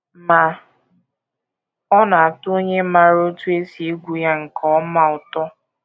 Ma ọ na - atọ onye maara otú e si egwu ya nke ọma ụtọ.